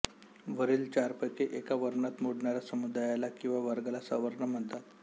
वरील चारपैकी एका वर्णात मोडणाऱ्या समुदायाला किंवा वर्गाला सवर्ण म्हणतात